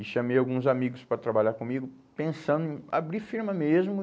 E chamei alguns amigos para trabalhar comigo, pensando em abrir firma mesmo.